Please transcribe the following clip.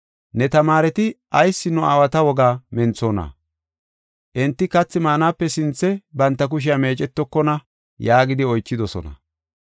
“Ne tamaareti ayis nu aawata wogaa menthona? Enti kathi maanape sinthe banta kushiya meecetokona” yaagidi oychidosona.